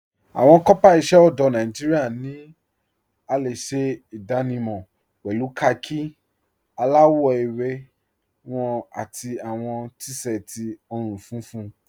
Awọn kọọpá iṣẹ ọdọ Nàìjíríà ni a le ṣẹ idànímọ̀ pẹ̀lú kháàkì aláwọ̀ èwé wọn àti awọn t-séẹtí ọ̀run-fúnfún.